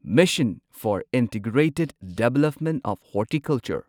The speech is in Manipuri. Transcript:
mission for integrated development of horticulture